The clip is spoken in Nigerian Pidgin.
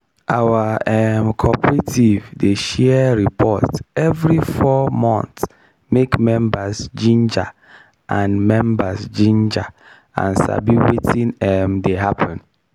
our um cooperative dey share report evri 4 months make members ginger and members ginger and sabi wetin um dey happen.